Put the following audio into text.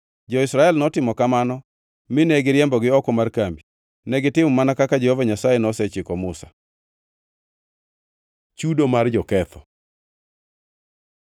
Jo-Israel notimo kamano; mine giriembogi oko mar kambi. Negitimo mana kaka Jehova Nyasaye nosechiko Musa. Chudo mar joketho